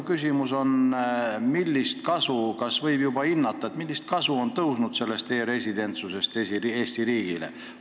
Kas võib juba hinnata, millist kasu on e-residentsusest Eesti riigile tõusnud?